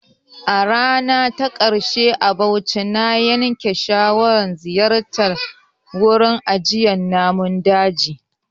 A rana ta ƙarshe a Bauchi, na yanke shawarar ziyartar wurin ajiyar Namun daji.